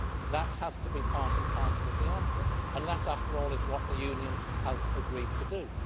That has to be part and parcel of the answer and that, after all, is what the Union has agreed to do.